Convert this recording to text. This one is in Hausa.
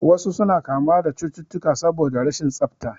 Wasu suna kamuwa da cututtukan saboda rashin tsafta